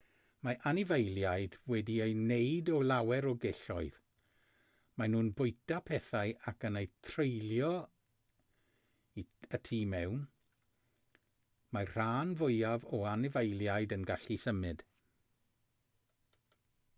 mae anifeiliaid wedi eu gwneud o lawer o gelloedd maen nhw'n bwyta pethau ac yn eu treulio y tu mewn mae'r rhan fwyaf o anifeiliaid yn gallu symud